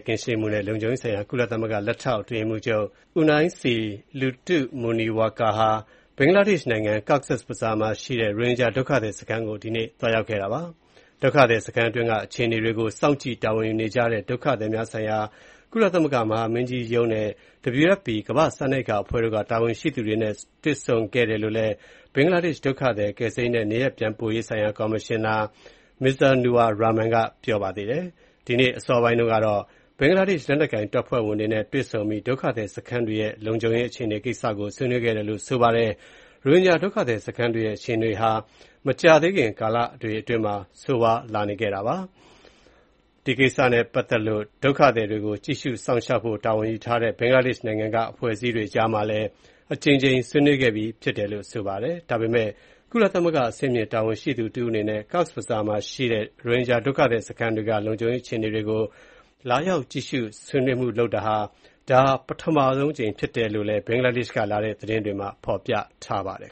ကင်းရှင်းမှုနဲ့ လုံခြုံရေးဆိုင်ရာ ကုလသမဂ္ဂ လက်ထောက် အတွင်းရေးမှူးချုပ် Unaisi Lutu Vuniwaqa ဟာ ဘင်္ဂလားဒေ့ရှ်နိုင်ငံ ၊ Cox’s Bazar မှာရှိတဲ့ ရိုဟင်ဂျာဒုက္ခသည်စခန်းကို ဒီကနေ့(စက်တင်ဘာ ၂၇) သွားရောက်ခဲ့ပါတယ်။ ဒုက္ခသည်စခန်းအတွင်းက အခြေအနေတွေကို စောင့်ကြည့် တာဝန်ယူနေကြတဲ့ ဒုက္ခသည်များဆိုင်ရာ ကုလသမဂ္ဂ မဟာမင်းကြီးရုံးနဲ့ WFP ကမ္ဘာ့စားနပ်ရိက္ခာအဖွဲ့တို့က တာဝန်ရှိသူတွေနဲ့ တွေ့ဆုံခဲ့ကြောင်းလည်း ဘင်္ဂလားဒေ့ရှ် ဒုက္ခသည် ကယ်ဆယ်ရေးနဲ့ နေရပ်ပြန်ပို့ရေးဆိုင်ရာ ကော်မရှင်နာ Mizanur Rahman က ပြောပါတယ်။ ဒီကနေ့ အစောပိုင်းတုန်းကတော့ ဘင်္ဂလားဒေ့ရှ် လက်နက်ကိုင်တပ်ဖွဲ့ဝင်တွေနဲ့ တွေ့ဆုံပြီး ဒုက္ခသည်ခစန်းတွေရဲ့ လုံခြုံရေး အခြေအနေတွေကိစ္စကို ဆွေးနွေးခဲ့တယ်လို့ ဆိုပါတယ်။ ရိုဟင်ဂျာဒုက္ခသည်စခန်းတွေရဲ့ အခြေအနေတွေဟာ မကြာသေးခင် ကာလတွေအတွင်းမှာ ဆိုးရွားလာနေတာပါ။ ဒီကိစ္စနဲ့ပတ်သက်လို့ ဒုက္ခသည်တွေကို ကြည့်ရှုစောင့်ရှောက်ဖို့ တာဝန်ယူထားတဲ့ ဘင်္ဂလားဒေ့ရှ်နိုင်ငံက အဖွဲ့အစည်းတွေအကြားမှာလည်း အကြိမ်ကြိမ် ဆွေးနွေးခဲ့ပြီးဖြစ်တယ်လို့ ဆိုပါတယ်။ ဒါပေမယ့် ကုလသမဂ္ဂ အဆင့်မြင် တာဝန်ရှိသူတဦးအနေနဲ့ Cox’s Bazar မှာရှိတဲ့ ရိုဟင်ဂျာ ဒုက္ခသည်စခန်းတွေက လုံခြုံရေးအခြေအနေတွေကို လာရောက် ကြည့်ရှု၊ ဆွေးနွေးမှုပြုလုပ်တာ ဒါဟာ ပထမဆုံးအကြိမ်ဖြစ်တယ်လို့ ဘင်္ဂလားဒေ့ရှ်ကလာတဲ့ သတင်းတွေမှာ ဖော်ပြထားပါတယ်